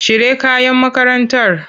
Cire kayan makarantar!